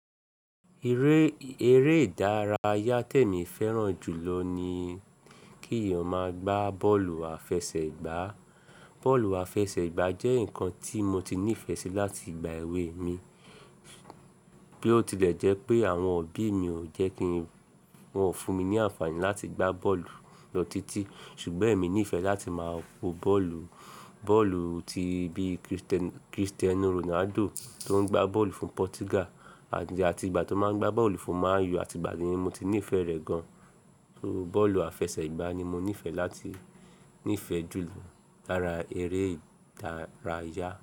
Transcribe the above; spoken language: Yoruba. Eré, eré ìdárayá temi fẹ́ràn jù lọ ni kí èèyàn máa gbá bọ́ọ̀lù àfẹsẹ̀gbá. Bọ́ọ̀lù àfẹsẹ̀gbá jẹ́ nǹkan tí mo ti nífẹ̀ẹ́ sí láti ìgbà èwe mi. Bí ó tilẹ̀ jẹ́ pé àwọn òbí mi ò jẹ́ kí n, wọn ò fún mi ní àǹfààní láti gbá bọ́ọ̀lù lo títí. Ṣùgbọ́n èmi nífẹ̀ẹ́ láti máa wo bọ́ọ̀lù, bọ́ọ̀lù ti bí Cristiano Ronaldo tó ń gbá bọ́ọ̀lù fún Portugal and àti ìgbà tó máa ń gbá bọ́ọ̀lù fún Man U àti ìgbà ni mo ti ní ìfẹ́ rẹ̀ gan. So bọ́ọ̀lù àfẹsẹ̀gbá ni mo nífẹ̀ẹ́ láti nífẹ̀ẹ́ jù lọ lára eré ìdárayá.